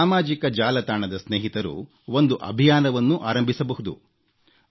ನನ್ನ ಸಾಮಾಜಿಕ ಜಾಲತಾಣದ ಸ್ನೇಹಿತರು ಒಂದು ಅಭಿಯಾನವನ್ನೂ ಆರಂಭಿಸಬಹುದು